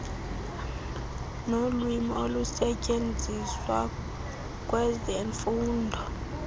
wolwimi olusetyenziswa kwezemfundo